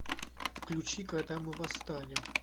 включи когда мы восстанем